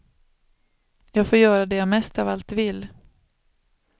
Jag får göra det jag mest av allt vill.